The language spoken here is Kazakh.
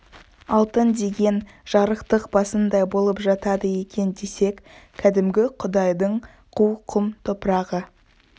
алтын деген жарықтық басындай болып жатады екен десек кәдімгі құдайдың қу құм топырағы